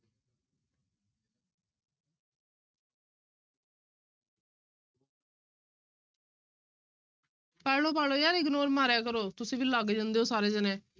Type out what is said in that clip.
ਪੜ੍ਹ ਲਓ, ਪੜ੍ਹ ਲਓ ਯਾਰ ignore ਮਾਰਿਆ ਕਰੋ, ਤੁਸੀਂ ਵੀ ਲੱਗ ਜਾਂਦੇ ਹੋ ਸਾਰੇ ਜਾਣੇ।